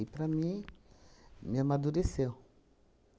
para mim, me amadureceu.